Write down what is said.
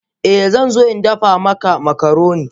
Eh zan zo in dafa maka makaroni.